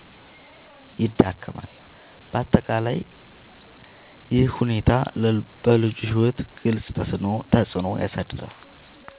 ይዳክማል። በአጠቃላይ ይህ ሁኔታ በልጁ ሕይወት ግልጽ ተፅዕኖ ያሳድራል።